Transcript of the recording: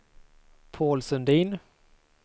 Paul Sundin